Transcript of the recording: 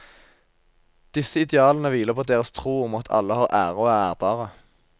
Disse idealene hviler på deres tro om at alle har ære og er ærbare.